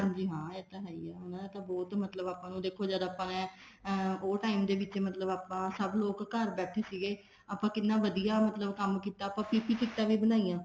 ਹਾਂਜੀ ਹਾਂ ਇਹ ਤਾਂ ਹੈ ਹੀ ਹੈ ਉਹਨਾ ਨੇ ਬਹੁਤ ਮਤਲਬ ਆਪਾਂ ਨੂੰ ਦੇਖੋ ਜਦ ਆਪਾਂ ਨੇ ਅਮ ਉਹ time ਦੇ ਵਿੱਚ ਆਪਾਂ ਸਭ ਲੋਕ ਘਰ ਬੈਠੇ ਸੀਗੇ ਆਪਾਂ ਕਿੰਨਾ ਵਧੀਆ ਮਤਲਬ ਕੰਮ ਕੀਤਾ ਆਪਾਂ PPE ਕਿੱਟਾ ਵੀ ਬਣਾਈਆਂ